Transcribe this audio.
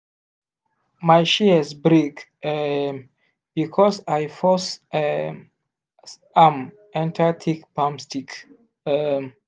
my shears break um because i force um am enter thick palm stick. um